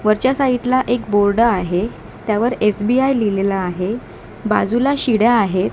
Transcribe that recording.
वरच्या साईड ला एक बोर्ड आहे त्यावर एसबीआय लिहिलेलं आहे बाजूला शिड्या आहेत.